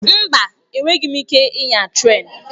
Mba! Enweghị m ike ịnya trén.